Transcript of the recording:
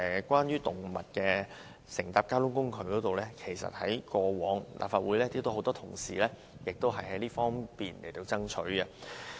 關於動物乘搭交通工具，其實過往立法會有很多同事也曾作出爭取。